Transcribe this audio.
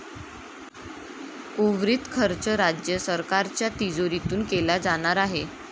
उर्वरित खर्च राज्य सरकारच्या तिजोरीतून केला जाणार आहे.